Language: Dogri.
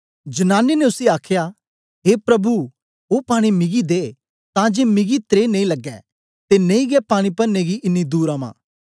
जनानी ने उसी आखया ए प्रभु ओ पानी मिगी दे तां जे मिगी त्रे नेई लगे ते नेई गै पानी परने गी इन्नी दूर अमां